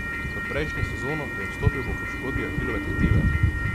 V prejšnjo sezono je vstopil po poškodbi ahilove tetive.